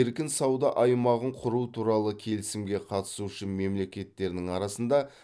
еркін сауда аймағын құру туралы келісімге қатысушы мемлекеттердің арасында